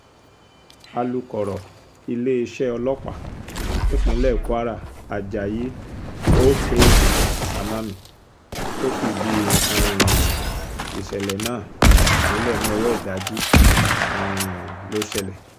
alūkọ̀rọ̀ iléeṣẹ́ ọlọ́pàá nípínlẹ̀ kwara ajayi oksanami tó fìdí um ìṣẹ̀lẹ̀ náà múlẹ̀ ní ọwọ́ ìdájí um ló ṣẹlẹ̀